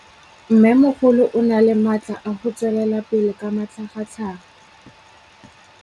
Mmêmogolo o na le matla a go tswelela pele ka matlhagatlhaga.